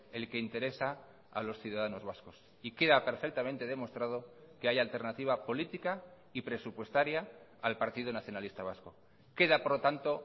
el que interesa a los ciudadanos vascos y queda perfectamente demostrado que hay alternativa política y presupuestaria al partido nacionalista vasco queda por lo tanto